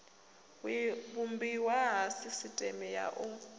vhumbiwa ha sisiteme ya u